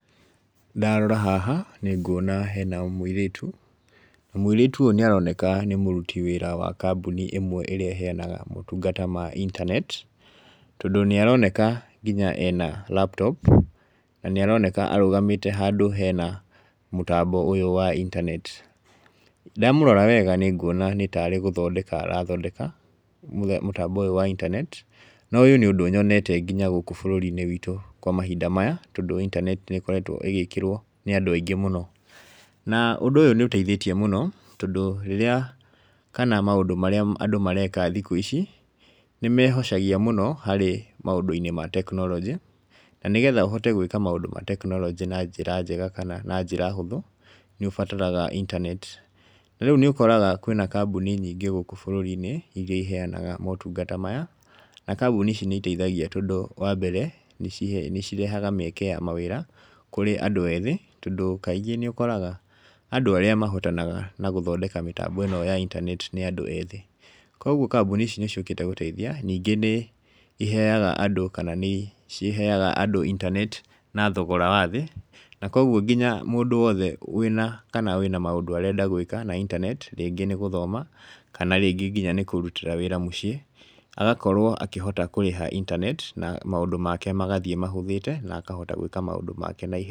Ndarora haha, nĩ nguona hena mũirĩtu, na mũirĩtu ũyũ nĩ aroneka nĩ mũruti wĩra wa kambũni ĩmwe ĩrĩa ĩheanaga motungata ma intaneti , tondũ nĩ aroneka nginya ena laptop, na nĩ aroneka arũgamĩte handũ hena mũtambo ũyũ wa intaneti, ndamũrora wega nĩ nguona nĩ tarĩ gũthondeka arathondeka mũtambo ũyũ wa intanet , na ũyũ nĩ ũndũ nyonete nginya gũkũ bũrũri-inĩ witũ kwa mahinda maya , tondũ intaneti nĩ ĩkoretwo ĩgĩkĩrwo nĩ andũ aingĩ mũno, na ũndũ ũyũ nĩ ũteithĩtie mũno tondũ rĩrĩa kana maũndũ marĩa andũ mareka thikũ ici, nĩmehocagia mũno harĩ maũndũ-inĩ ma teknorojĩ , na nĩgetha ũhote gwĩka maũndũ ma teknoroji na njĩra njega kana na njĩra hũthũ , nĩ ũbataraga intaneti , na rĩu nĩ ũkoraga kwĩna kambũni nyingĩ gũkũ bũrũri-inĩ iria iheanaga matungata maya , na kambũni ici nĩ iteithagia tondũ wa mbere , nĩ cirehaga mĩeke ya mawĩra kũrĩ andũ ethĩ, tondũ kaingĩ nĩ ũkoraga andũ arĩa mahotanaga na gũthondeka mĩtambo ĩno ya intanet nĩ andũ ethĩ, kũgwo kambũni ici nĩ ciũkĩte gũteithia ningĩ nĩ iheanaga andũ kana nĩ ciheaga andũ intaneti na thogora wa thĩ, na kogwo mũndũ wothe wĩna kana wĩna maũndũ arenda gwĩka na intanet, rĩngĩ nĩ gũthoma kana rĩngĩ nĩkũrutĩra wĩra mũciĩ agakorwo akũhota kũrĩha intaneti , na maũndũ make magathiĩ mahũthĩte na akahota gwĩka maũndũ make na ihenya.